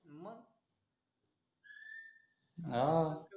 हा